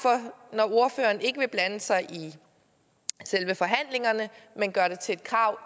når ordføreren ikke vil blande sig i selve forhandlingerne men gøre det til et krav